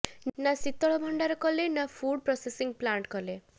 ନା ଶୀତଳଭଣ୍ଡାର କଲେ ନା ଫୁଡ୍ ପ୍ରସେସିଂ ପ୍ଲାଣ୍ଟ କଲେ